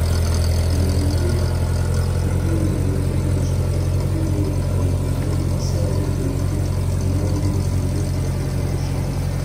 иемденген тергеу мәліметі бойынша тоқмәди бұл әрекетімен аса ірі көлемде миллион мың теңге материалдық шығын